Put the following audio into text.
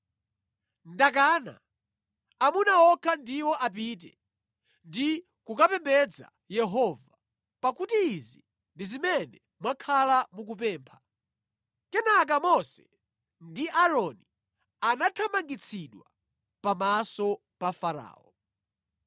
Ndakana! Amuna okha ndiwo apite ndi kukapembedza Yehova pakuti izi ndi zimene mwakhala mukupempha.” Kenaka Mose ndi Aaroni anathamangitsidwa pamaso pa Farao.